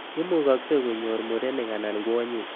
Imukakse konyor murenik anan kwonyik.